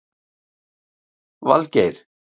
Valgeir